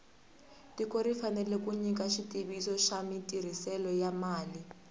tiko ri fanele ku nyika xitiviso xa matirhiselo ya mali